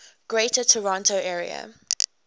greater toronto area